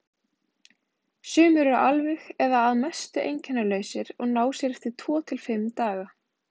Sumir eru alveg eða að mestu einkennalausir og ná sér eftir tvo til fimm daga.